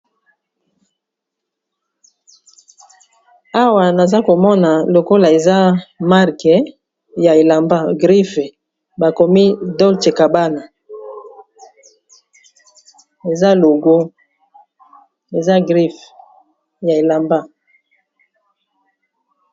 Awa naza komona lokola eza marke ya elamba griffe bakomi dolche kabana logo eza griffe ya elamba.